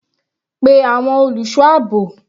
Pe àwọn olùṣọ́ àbò.